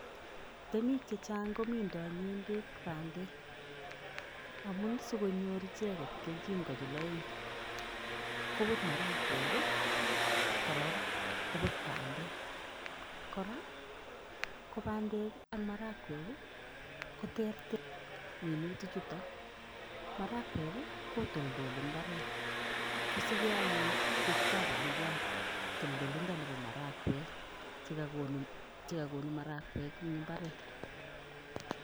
Temik chechang komindoi ng'endek bandek amun sikonyor icheket kelchin konyil koput marakwek, korok koput bandek. Kora, ko bandek ak marakwek, koter minutichuto. Marakwek, kotoldoli mbaret. Kosike anyun ketitap bandiat toldolindo nepo marakwek chekakonu marakwek eng mbaret.